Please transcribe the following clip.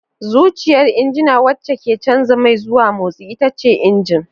Zuciyar injina wacce ke canza mai zuwa motsi ita ce injin.